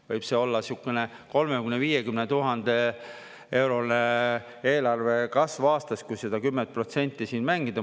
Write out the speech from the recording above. – võib see olla siukene 30 000–50 000-eurone eelarvekasv aastas, kui seda 10% siin mängida.